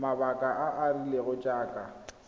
mabaka a a rileng jaaka